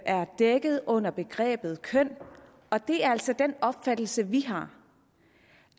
er dækket under begrebet køn og det er altså den opfattelse vi har